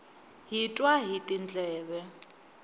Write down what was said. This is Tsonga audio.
hi twa hi tindleve